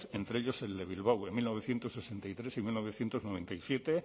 entre ellos el de bilbao en mil novecientos sesenta y tres y mil novecientos noventa y siete